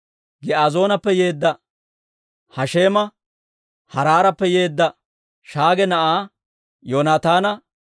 Giizoonappe yeedda Hasheema, Haaraarappe yeedda Shaage na'aa Yoonataana,